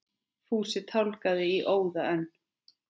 Fúsi tálgaði í óða önn.